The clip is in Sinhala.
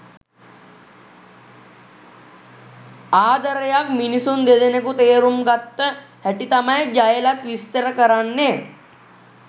ආදරයක් මිනිසුන් දෙදෙනෙකු තේරුම් ගත්ත හැටි තමයි ජයලත් විස්තර කරන්නේ.